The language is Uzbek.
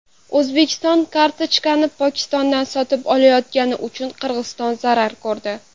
O‘zbekiston kartoshkani Pokistondan sotib olayotgani uchun Qirg‘iziston zarar ko‘rdi.